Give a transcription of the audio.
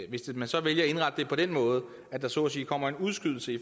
hvis man så vælger at indrette det på den måde at der så at sige kommer en udskydelse i